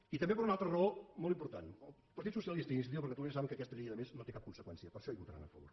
i també per una altra raó molt important el partit socialista i iniciativa per catalunya saben que aquesta llei a més no té cap conseqüència per això hi votaran a favor